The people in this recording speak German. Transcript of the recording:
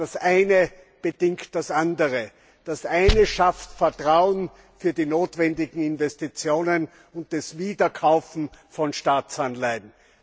Aber das Eine bedingt das Andere. Das Eine schafft Vertrauen für die notwendigen Investitionen und das Wiederkaufen von Staatsanleihen.